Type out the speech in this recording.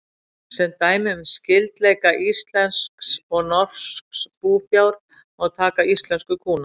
Sem dæmi um skyldleika íslensks og norsks búfjár má taka íslensku kúna.